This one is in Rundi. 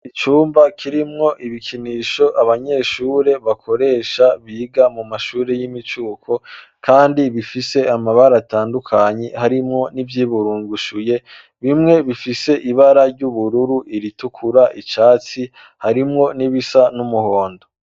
Icumba kirimwo ibikinisho abanyeshure bakoresha biga mu mashuri y'imicuko kandi bifise amabara atandukanye harimwo n'ivyiburungushuye bimwe bifise ibara ry'ubururu, iritukura icatsi harimwo n'ibisa n'umuhondo.